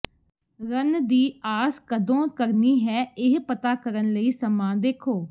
run ਦੀ ਆਸ ਕਦੋਂ ਕਰਨੀ ਹੈ ਇਹ ਪਤਾ ਕਰਨ ਲਈ ਸਮਾਂ ਦੇਖੋ